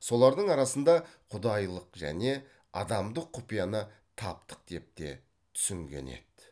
солардың арасында құдайылық және адамдық құпияны таптық деп те түсінген еді